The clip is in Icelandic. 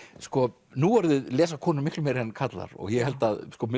sko nú orðið lesa konur miklu meira en karlar og ég held að